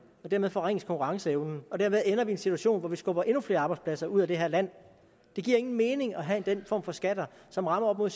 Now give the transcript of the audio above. dermed forringes konkurrenceevnen og dermed ender vi i en situation hvor vi skubber endnu flere arbejdspladser ud af det her land det giver ingen mening at have den form for skatter som rammer op mod